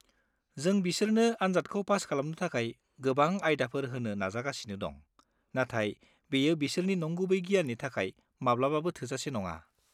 जों बिसोरनो आनजादखौ पास खालामनो थाखाय गोबां आयदाफोर होनो नाजागासिनो दं, नाथाय बेयो बिसोरनि नंगुबै गियाननि थाखाय माब्लाबाबो थोजासे नङा।